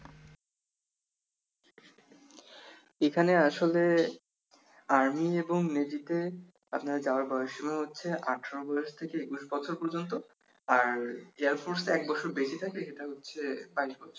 এখানে আসলে army এবং Navy তে আপনার যাওয়ার বয়স হচ্ছে আঠারো বয়স থেকে একুশ বছর পর্যন্ত আর air force এ এক বছর বেশি থাকে সেটা হচ্ছে বাইশ বছর